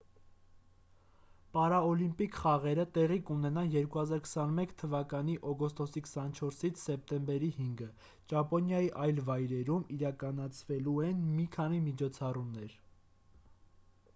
պարաօլիմպիկ խաղերը տեղի կունենան 2021 թ օգոստոսի 24-ից սեպտեմբերի 5-ը ճապոնիայի այլ վայրերում իրականացվելու են մի քանի միջոցառումներ